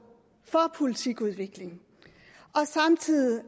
for politikudvikling og samtidig